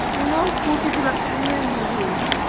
ਉਹਨੂੰ ਸਕੂਟੀ ਚਲਾਉਣੀ ਨਹੀਂ ਆਉਂਦੀ ਸੀ।